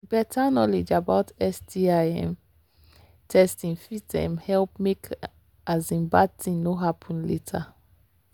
better knowledge about sti um testing fit um help make um bad thing no happen later